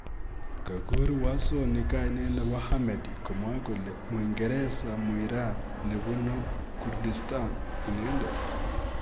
Kogur Wasoni gainet nebo ahmady komwae kole ,muingereza-muiran nebunu kurdistan inendet